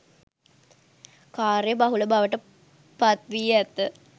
කාර්ය බහුල බවට පත්වී ඇත